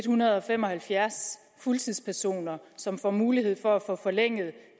hundrede og fem og halvfjerds fuldtidspersoner som får mulighed for at få forlænget